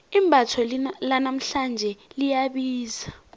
imbatho lanamhlanje liyabiza